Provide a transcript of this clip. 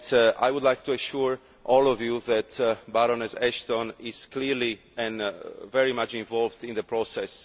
I would like to assure all of you that Baroness Ashton is clearly and very much involved in the process.